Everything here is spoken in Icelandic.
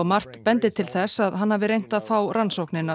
margt bendi til þess að hann hafi reynt að fá rannsóknina